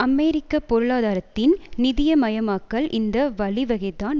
அமெரிக்க பொருளாதாரத்தின் நிதியமயமாக்கல் இந்த வழிவகைதான்